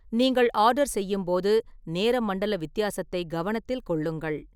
நீங்கள் ஆர்டர் செய்யும்போது நேர மண்டல வித்தியாசத்தை கவனத்தில் கொள்ளுங்கள்.